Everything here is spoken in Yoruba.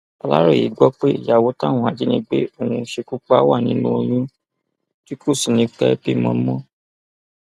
aláròye gbọ pé ìyàwó táwọn ajìnígbé ọhún ṣekú pa wà nínú oyún tí kò sì ní í pẹẹ bímọ mọ